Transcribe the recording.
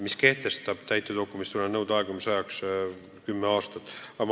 Täitedokumentidest tuleneva nõude aegumise ajaks on kehtestatud kümme aastat.